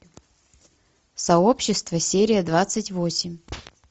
сообщество серия двадцать восемь